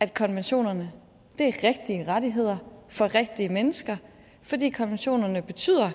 at konventionerne er rigtige rettigheder for rigtige mennesker fordi konventionerne betyder